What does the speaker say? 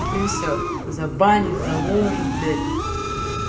и все забанит заложет блять